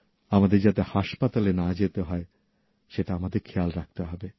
আমাদের যাতে হাসপাতালে না যেতে হয় সেটা আমাদের খেয়াল রাখতে হবে